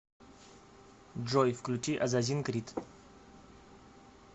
джой включи азазин крит